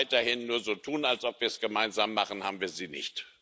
Wenn wir weiterhin nur so tun, als ob wir es gemeinsam machen, haben wir sie nicht.